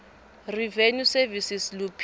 revenue service luphiko